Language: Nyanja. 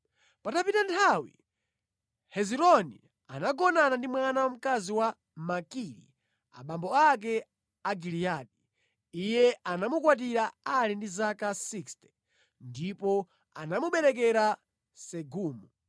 Patapita nthawi, Hezironi anagona ndi mwana wamkazi wa Makiri abambo ake a Giliyadi (iye anamukwatira ali ndi zaka 60) ndipo anamuberekera Segubu.